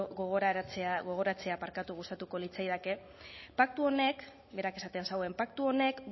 gogoratzea gustatuko litzaidake paktu honek berak esaten zuen paktu honek